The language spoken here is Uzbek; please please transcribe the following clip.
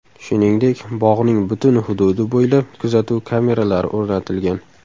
Shuningdek bog‘ning butun hududi bo‘ylab kuzatuv kameralari o‘rnatilgan.